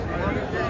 Nə olar?